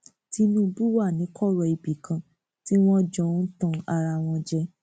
tìtúbù wà ní kọrọ ibì kan tí wọn jọ ń tan ara wọn jẹ